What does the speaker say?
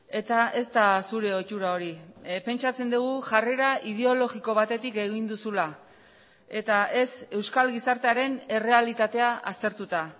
eta ez da zure ohitura hori pentsatzen dugu jarrera ideologiko batetik egin duzula eta ez euskal gizartearen errealitatea aztertuta